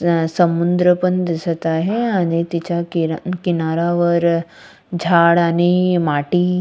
अह समुद्र पण दिसत आहे आणि तिचा किनाऱ्यावर झाड आणि माटी--